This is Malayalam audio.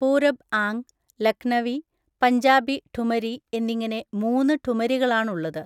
പൂരബ് ആങ്, ലക്‌നവി, പഞ്ചാബി ഠുമരി എന്നിങ്ങനെ മൂന്ന് ഠുമരികളാണുള്ളത്.